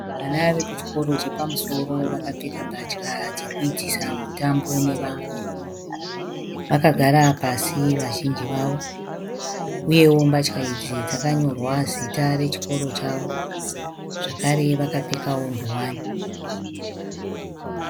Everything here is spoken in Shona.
Vana vekuchikoro chepamusoro vakapfeka mbatya dzekuitisa mutambo nevamwe. Vakagara pasi vazhinji vavo uyewo mbatya idzi dzakanyorwa zita rechikoro chavo uye vakapfekawo nguwani.